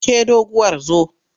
Ke doguwar zo!